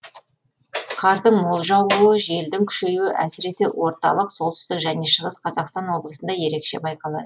қардың мол жаууы желдің күшейуі әсіресе орталық солтүстік пен шығыс қазақстан облысында ерекше байқалады